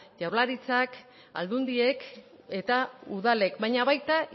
jaurlartitzak aldundiek eta udalek baina baita